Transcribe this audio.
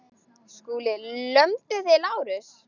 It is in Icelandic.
SKÚLI: Lömduð þið Lárus?